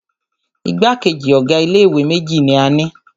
Igbákejì ọ̀ga ilé ìwé méjì ní a ni.